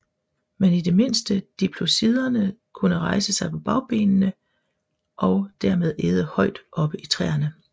Men i det mindste diplodociderne kunne rejse sig på bagbenene og dermed æde højt oppe i træerne